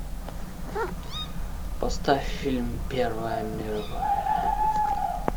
поставь фильм первая мировая